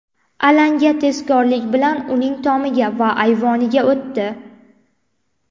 Alanga tezkorlik bilan uning tomiga va ayvoniga o‘tdi.